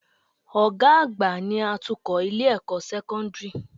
Ọ̀gá àgbà ni atukọ̀ Ilé-ẹ̀kọ́ sẹ́kọ́ńdìrì